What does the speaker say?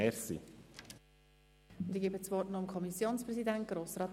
Ich erteile nun dem Kommissionspräsidenten das Wort.